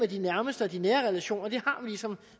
de nærmeste og de nære relationer har vi ligesom